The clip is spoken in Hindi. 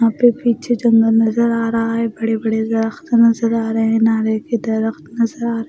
यहां पे पीछे जंगल नजर आ रहा है बड़े-बड़े दरख्त नजर आ रहे हैं नारे के दरख्त नजर आ --